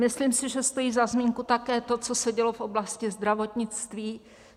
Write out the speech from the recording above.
Myslím si, že stojí za zmínku také to, co se dělo v oblasti zdravotnictví.